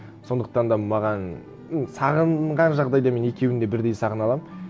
сондықтан да маған ну сағынған жағдайда мен екеуін де бірдей сағына аламын